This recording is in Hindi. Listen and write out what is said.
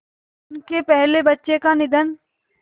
उनके पहले बच्चे का निधन